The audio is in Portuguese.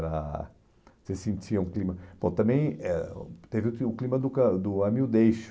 ah, você sentia um clima... Bom, também eh teve que o clima do ãh do ame ou deixe-o